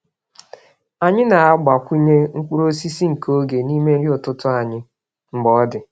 Anyị na-agbakwụnye mkpụrụ osisi nke oge n’ime nri ụtụtụ anyị mgbe ọ dị.